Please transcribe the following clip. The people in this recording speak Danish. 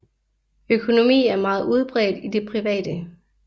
Økonomi er meget udbredt i det private